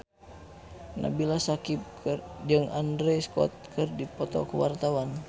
Nabila Syakieb jeung Andrew Scott keur dipoto ku wartawan